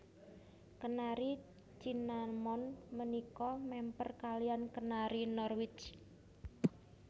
Kenari Cinnamon punika mèmper kaliyan Kenari Norwich